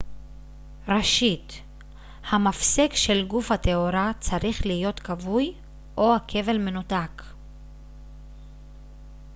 ראשית המפסק של גוף התאורה צריך להיות כבוי או הכבל מנותק